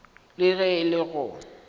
le ge e le go